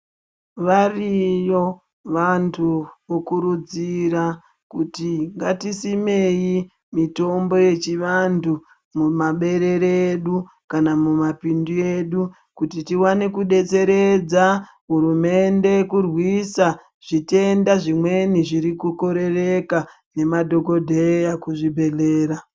Variyo vantu vo kurudzira kuti ngati simei mitombo yechi vantu mu maberere edu kana muma pindu edu kuti tiwane ku detseredza hurumende kurwisa zvitenda zvimweni zviri ku korereka ne madhokodheya kuzvi bhedhlera.